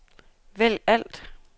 vælg alt